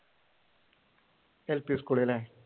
L P സ്കൂളല്ലേ?